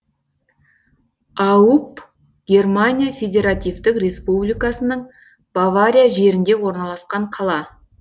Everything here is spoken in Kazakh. ауб германия федеративтік республикасының бавария жерінде орналасқан қала